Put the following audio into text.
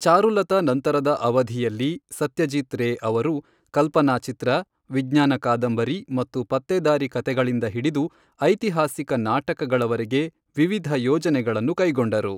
ಚಾರುಲತಾ ನಂತರದ ಅವಧಿಯಲ್ಲಿ, ಸತ್ಯಜೀತ್ ರೇ ಅವರು ಕಲ್ಪನಾಚಿತ್ರ, ವಿಜ್ಞಾನ ಕಾದಂಬರಿ ಮತ್ತು ಪತ್ತೇದಾರಿ ಕಥೆಗಳಿಂದ ಹಿಡಿದು ಐತಿಹಾಸಿಕ ನಾಟಕಗಳವರೆಗೆ ವಿವಿಧ ಯೋಜನೆಗಳನ್ನು ಕೈಗೊಂಡರು.